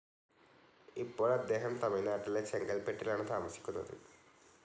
ഇപ്പോൾ അദ്ദേഹം തമിഴ്നാട്ടിലെ ചെങ്കൽപ്പെട്ടിലാണ് താമസിക്കുന്നത്.